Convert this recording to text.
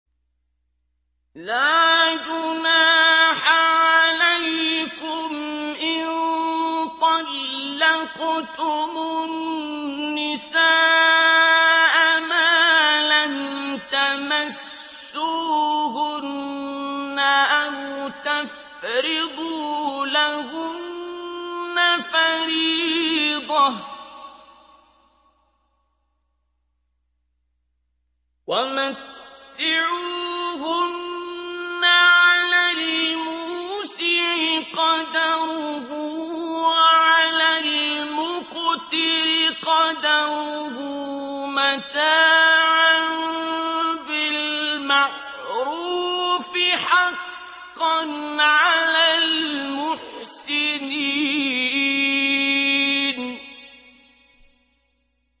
لَّا جُنَاحَ عَلَيْكُمْ إِن طَلَّقْتُمُ النِّسَاءَ مَا لَمْ تَمَسُّوهُنَّ أَوْ تَفْرِضُوا لَهُنَّ فَرِيضَةً ۚ وَمَتِّعُوهُنَّ عَلَى الْمُوسِعِ قَدَرُهُ وَعَلَى الْمُقْتِرِ قَدَرُهُ مَتَاعًا بِالْمَعْرُوفِ ۖ حَقًّا عَلَى الْمُحْسِنِينَ